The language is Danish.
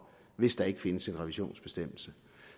hvis der ikke findes en revisionsbestemmelse